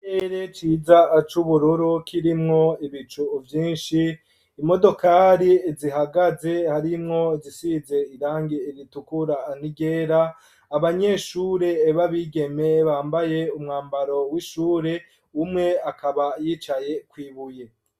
Ikirere ciza acubururu ,kirimwo ibicu vyinshi ,imodokari zihagaze harimwo zisize irangi iritukura ,niryera ,abanyeshure babigeme bambaye umwambaro w'ishure, umwe akaba yicaye kwibuye.